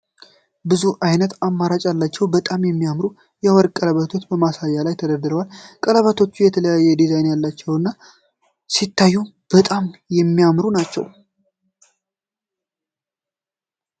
ብዙ አይነት አማራጭ ያላቸው በጣም የሚያማምሩ የወርቅ ቀለበሮች በማሳያው ላይ ተደርድረዋል። ቀለበቶቹ የተለያየ ዲዛይን ያላቸው እና ሲታዩም በጣም የሚያምሩ ናቸው።